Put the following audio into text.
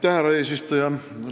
Aitäh, härra eesistuja!